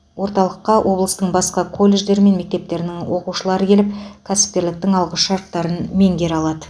орталыққа облыстың басқа колледждері мен мектептерінің оқушылары келіп кәсіпкерліктің алғышарттарын меңгере алады